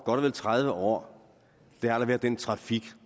og vel tredive år har der været den trafik